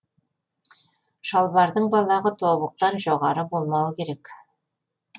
шалбардың балағы тобықтан жоғары болмауы керек